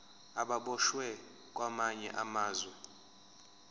ababoshwe kwamanye amazwe